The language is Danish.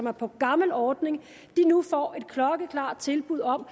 er på gammel ordning nu får et klokkeklart tilbud om